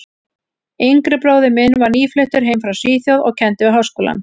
yngri bróðir minn var nýfluttur heim frá Svíþjóð og kenndi við Háskólann.